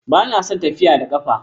Ba na son tafiya da ƙafa